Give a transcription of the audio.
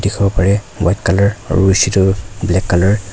dikhibo pare White colour aru black colour --